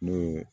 N'o ye